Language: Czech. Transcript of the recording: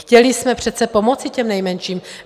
Chtěli jsme přece pomoci těm nejmenším.